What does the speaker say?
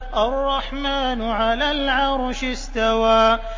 الرَّحْمَٰنُ عَلَى الْعَرْشِ اسْتَوَىٰ